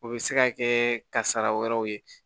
O bɛ se ka kɛ kasara wɛrɛw ye